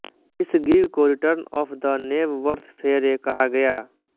इस गिग को Return of the Knebworth Fayre कहा गया